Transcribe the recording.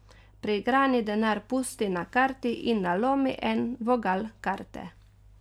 Priigrani denar pusti na karti in nalomi en vogal karte.